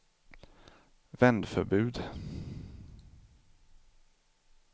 vändförbud